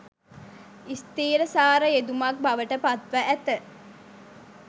ස්ථීරසාර යෙදුමක් බවට පත්ව ඇත.